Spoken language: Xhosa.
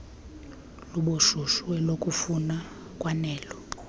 lobushushu elokufuma kwanelo